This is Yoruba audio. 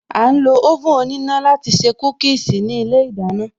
A ń lo oven òníná láti se Kúkíīsī ní ilé ìdáná